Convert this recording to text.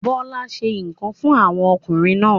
Bọ́lá se ikán fún àwọn ọkùnrin náà.